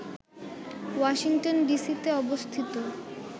Washington ডিসিতে অবস্থিত